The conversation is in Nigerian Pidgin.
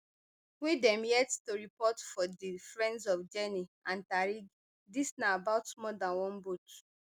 wey dem yet to report but for di friends of jenny and tarig dis na about more dan one boat